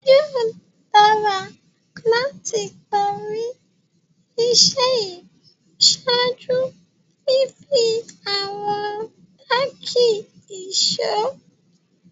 Yóò dàrà láti pá rí iṣẹ̀ yí ṣáàjú fífì àwọn tàkí èṣọ̀.